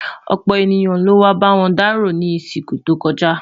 ọpọ ènìyàn ló wà b'awọn daro ní isiku tó kojá